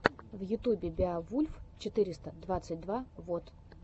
в ютубе беовульф четыреста двадцать два вот